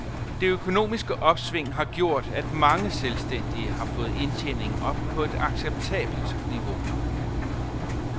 Det økonomiske opsving har gjort, at mange selvstændige har fået indtjeningen op på et acceptabelt niveau.